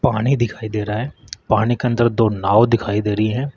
पानी दिखाई दे रहा है पानी के अंदर दो नाव दिखाई दे रही है।